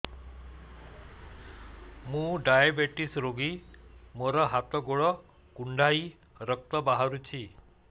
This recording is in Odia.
ମୁ ଡାଏବେଟିସ ରୋଗୀ ମୋର ହାତ ଗୋଡ଼ କୁଣ୍ଡାଇ ରକ୍ତ ବାହାରୁଚି